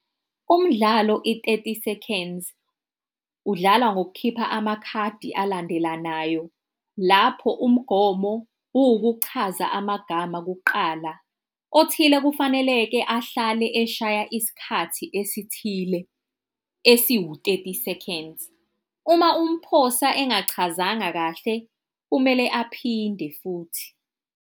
Umdlalo i-Thirty Seconds, udlala ngokukhipha amakhadi alandelanayo, lapho umgomo kuwukuchaza amagama kuqala, othile kufanele-ke ahlale eshaya isikhathi esithile esiwu-thirty seconds. Uma umphosa engachazanga kahle kumele aphinde futhi.